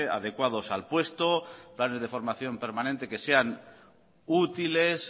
adecuados al puesto planes de formación permanente que sean útiles